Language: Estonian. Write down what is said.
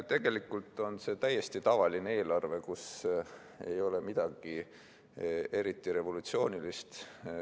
Tegelikult on see täiesti tavaline eelarve, kus ei ole midagi eriti revolutsioonilist.